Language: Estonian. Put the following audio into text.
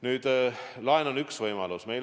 Nüüd, laen on üks võimalus.